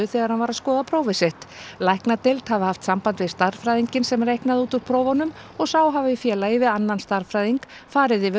þegar hann var að skoða prófið sitt læknadeild hafi haft samband við stærðfræðinginn sem reiknaði út úr prófunum og sá hafi í félagi við annan stærðfræðing farið yfir